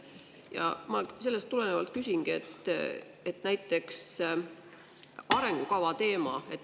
Ja ma sellest tulenevalt küsingi arengukava teema kohta.